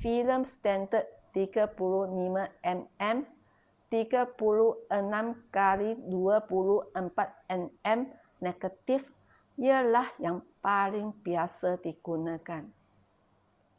filem standard 35 mm 36 x 24 mm negatif ialah yang paling biasa digunakan